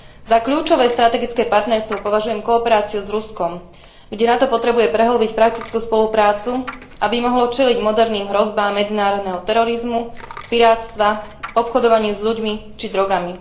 Za kľúčové strategické partnerstvo považujem kooperáciu s Ruskom, kde NATO potrebuje prehĺbiť praktickú spoluprácu, aby mohlo čeliť moderným hrozbám medzinárodného terorizmu, pirátstva, obchodovaniu s ľuďmi či drogami.